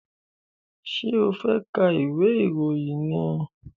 Ṣé ẹ fẹ́ ka ìwé ìròyìn ni?